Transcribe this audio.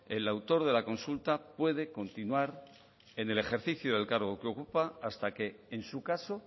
el autor de la consulta puede continuar en el ejercicio del cargo que ocupa hasta que en su caso